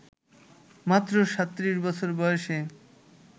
মাত্র ৩৭ বছর বয়সে